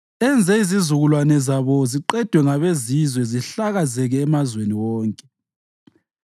enze izizukulwane zabo ziqedwe ngabezizwe zihlakazeke emazweni wonke.